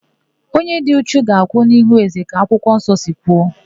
Onye dị uchu ga-akwụ n'ihu ézē ka akwụkwọnsọ si kwu.